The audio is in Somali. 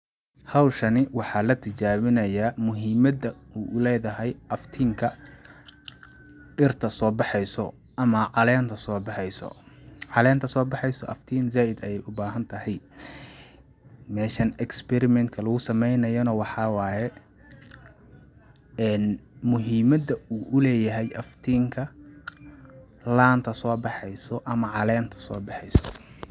Hawshani waxaa la tijabinayaa muhimada uu u leedahay aftiinka dhirta soo baxeyso ama caleenta soo baxeyso ,caleenta soo baxeyso aftiin zaaaid ayeey u baahan tahay .Meeshan experiment ka lagu sameynayo na waxaa waye, muhimada uu u leeyahay aftiinka laanta soo baxeyso ama caleenata soo baxeyso .